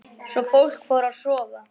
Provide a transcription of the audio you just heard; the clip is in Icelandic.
Svo fór fólk að sofa.